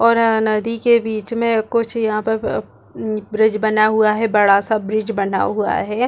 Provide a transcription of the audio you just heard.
और अ नदी के बीच में कुछ यहाँ पर ब्रिज बना हुआ है बड़ा -सा ब्रिज बना हुआ हैं।